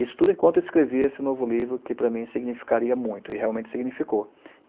Isso tudo enquanto escrevia esse novo livro, que para mim significaria muito, e realmente significou.